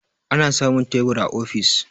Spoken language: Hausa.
ana samun tebur a ofis